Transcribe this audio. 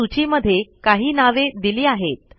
या सूची मध्ये काही नावे दिली आहेत